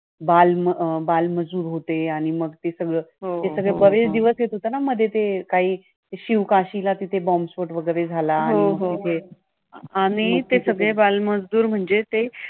बाल अं बालमजूर होते आणि मग ते सगळं. ते सगळं बरेच दिवस येत होता ना मध्ये मध्ये ते काही शिवकाशीला बॉम्बस्फोट वगैरे झाला आणि ते सगळे बालमजूर